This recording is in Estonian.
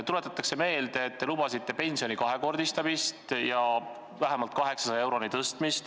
Tuletatakse meelde, et te lubasite pensioni kahekordistamist ja selle tõstmist vähemalt 800 euroni.